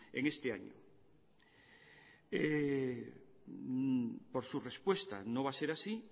en este año por su respuesta no va a ser así